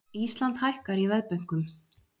Ísland hækkar í veðbönkum